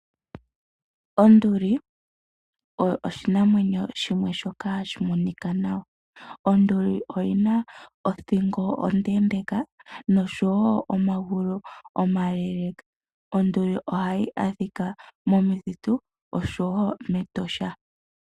Onduli oyo oshinamwenyo shimwe shoka hashi monika nawa. Onduli oyi na othingo onde nomagulu omale, ohayi adhika momithitu noshowo mEtosha.